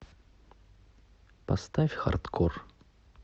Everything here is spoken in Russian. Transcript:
поставь хардкор